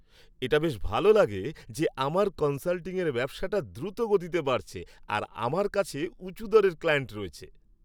এটা বেশ ভালো লাগে যে আমার কনসাল্টিংয়ের ব্যবসাটা দ্রুতগতিতে বাড়ছে আর আমার কাছে উঁচু দরের ক্লায়েন্ট রয়েছে।